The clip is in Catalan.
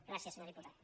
gràcies senyor diputat